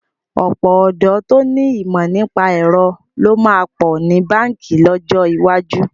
Ọ̀pọ̀ ọ̀dọ́ tó ní ìmọ̀ nípa ẹ̀rọ ló máa pọ̀ ní báǹkì lọ́jọ́ iwájú.